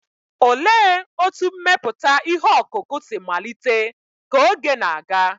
Olee otú mmepụta ihe ọkụkụ si malite ka oge na-aga?